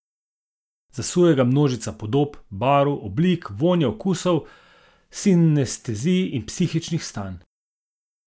Zasuje ga množica podob, barv, oblik, vonjev, okusov, sinestezij in psihičnih stanj.